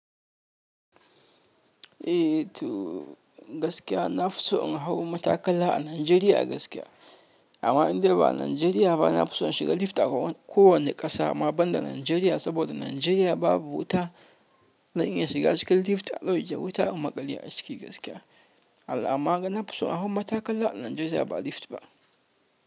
Eh to gaskiya na fi so in hau matakala a Najeriya gaskiya. Amma in dai ba Najeriya ba, na fi so in shiga lift a ko wane ƙasa amma banda Najeriya, saboda Najeriya babu wuta zan iya shiga cikin lift a ɗauke wuta in maƙale aciki gaskiya. Amma na fi so in hau matakala a Najeriya ba lift ba.